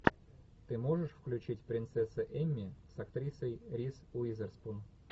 ты можешь включить принцесса эмми с актрисой риз уизерспун